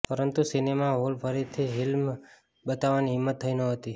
પરંતુ cinema hall ફરીથી film બતાવવાની હિંમત થઈ નહોતી